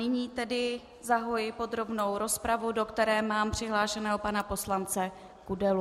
Nyní tedy zahajuji podrobnou rozpravu, do které mám přihlášeného pana poslance Kudelu.